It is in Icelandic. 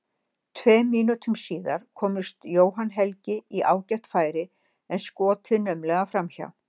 Tveim mínútum síðar komst Jóhann Helgi í ágætt færi en skotið naumlega framhjá.